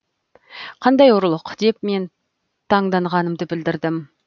қандай ұрлық деп мен таңданғанымды білдірдім